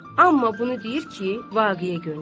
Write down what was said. Amma bunu deyir ki, vaqeə görmüşəm.